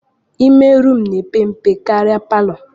Ime rumụ na-epe mpe karịa palọ